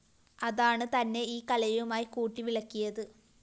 അതാണ് തന്നെ ഈ കലയുമായി കൂട്ടിവിളക്കിയത്